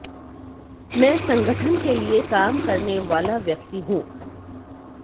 मैं संगठन के लिए काम करने वाला व्यक्ति हूं